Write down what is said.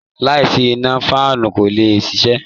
Láìsí iná, fáànù kò lè ṣiṣẹ́